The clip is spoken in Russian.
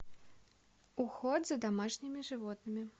уход за домашними животными